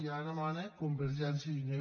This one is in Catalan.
i ara mana convergència i unió